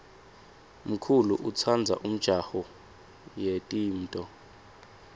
mkulu utsandza umjaho yetimto